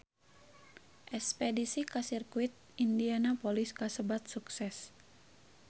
Espedisi ka Sirkuit Indianapolis kasebat sukses